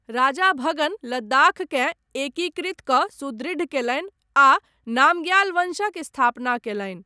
राजा भगन लद्दाखकेँ एकीकृत कऽ सुदृढ़ कयलनि आ नामग्याल वंशक स्थापना कयलनि।